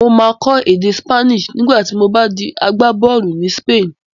Mà á kọ́ èdè Spanish nígbà tí mo bá di agbábọ́ọ̀lù ní Spain